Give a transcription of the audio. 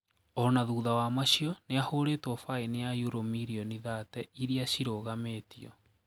Ona thutha wa macio niahuritwo faini ya euro mirioni thate iria cirũgamitio.